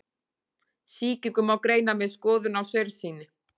Sýkingu má greina með skoðun á saursýni.